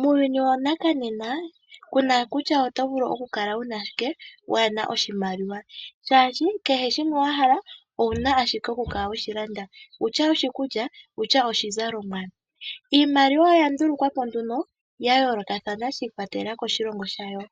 Muuyuni wonena kuna kutya oto vulu ku kala wuna shike kuuna oshimaliwa. Molwaashono kehe shoka to pumbwa owuna okushilanda noshimaliwa ongele iikulya nenge iizalomwa. Iimaliwa oya ndulukwapo ya yoolokothana shi ikwatelela koshilongo shayo,